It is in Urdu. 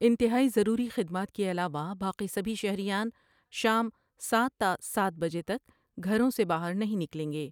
انتہائی ضروری خدمات کے علاوہ باقی سبھی شہریان شام سات تا سات بجے تک گھروں سے باہر نہیں نکلیں گے ۔